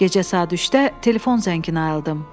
Gecə saat 3-də telefon zənginə ayıldım.